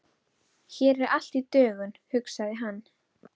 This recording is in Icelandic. Hér er allt í dögun, hugsaði hann.